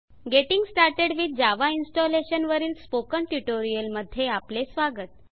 getting started with Java installation वरील spoken tutorial मध्ये आपले स्वागत